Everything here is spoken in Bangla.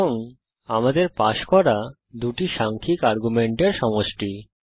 এবং আমাদের পাস করা দুটি সাংখ্যিক আর্গুমেন্টের সমষ্টি